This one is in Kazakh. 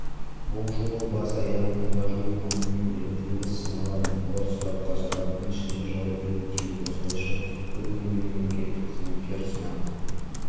бұл жолы бас-аяғы мыңға жуық маманның біліктілігі сыналады олар сұраққа сағаттың ішінде жауап беруі тиіс осылайша бір күнде мемлекеттік қызметкер сынақ